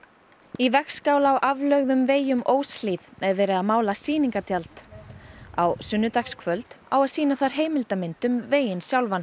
í vegskála á aflögðum vegi um Óshlíð er verið að mála sýningartjald á sunnudagskvöld á að sýna þar heimildarmynd um veginn sjálfan